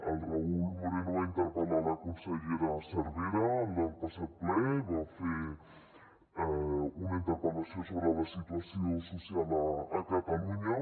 el raúl moreno va interpel·lar la consellera cervera en el passat ple va fer una interpel·lació sobre la situació social a catalunya